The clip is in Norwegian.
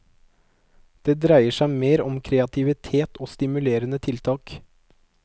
Det dreier seg mer om kreativitet og stimulerende tiltak.